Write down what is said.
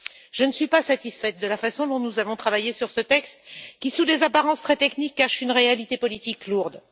Je ne suis pas satisfaite de la façon dont nous avons travaillé sur ce texte qui, sous des apparences très techniques, cache une réalité politique lourde.